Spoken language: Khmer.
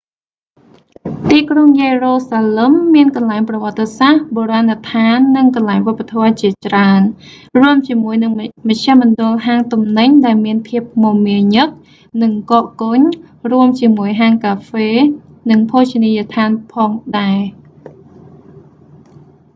ទីក្រុងយេរូសាឡឹម មានកន្លែងប្រវត្តិសាស្រ្ត បូរាណដ្ឋាន និងកន្លែងវប្បធម៌ជាច្រើន រួមជាមួយនឹងមជ្ឈមណ្ឌលហាងទំនិញដែលមានភាពមមាញឹក និងកកកុញ រួមជាមួយហាងកាហ្វេ និងភោជនីយដ្ឋានផងដែរ